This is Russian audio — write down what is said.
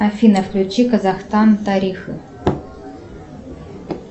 афина включи казахстан тарифы